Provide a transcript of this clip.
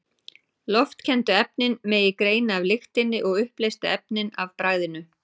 Loftkenndu efnin megi greina af lyktinni og uppleystu efnin af bragðinu.